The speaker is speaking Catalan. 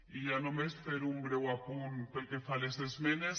i ja només fer un breu apunt pel que fa a les esmenes